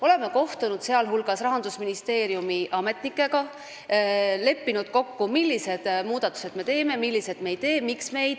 Oleme kohtunud muu hulgas Rahandusministeeriumi ametnikega ja leppinud kokku, milliseid muudatusi me teeme, milliseid me ei tee ja miks me ei tee.